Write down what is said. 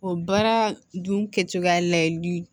O baara dun kɛcogoya layɛli